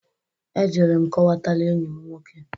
Ejere m kọwatara enyi m nwoke.